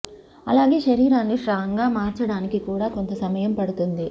అలాగే శరీరాన్ని స్ట్రాంగ్ గా మార్చడానికి కూడా కొంత సమయం పడుతుంది